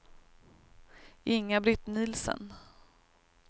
Inga-Britt Nielsen